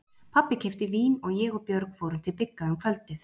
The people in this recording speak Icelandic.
Pabbi keypti vín og ég og Björg fórum til Bigga um kvöldið.